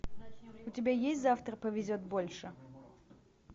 у тебя есть завтра повезет больше